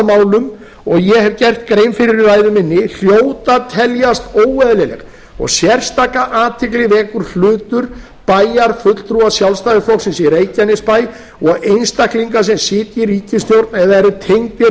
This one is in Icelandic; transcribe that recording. málum og ég hef gert grein fyrir í ræðu minni hljóta að teljast óeðlileg og sérstaka athygli vekur hlutur bæjarfulltrúa sjálfstæðisflokksins í reykjanesbæ og einstaklinga sem sitja í ríkisstjórn eða eru tengdir